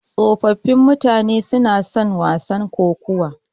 Tsofaffin mutane suna son wasan kokawa.